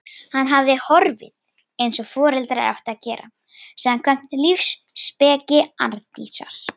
Hann hafði horfið- eins og foreldrar áttu að gera, samkvæmt lífsspeki Arndísar.